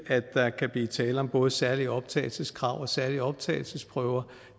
at der kan blive tale om både særlige optagelseskrav og særlige optagelsesprøver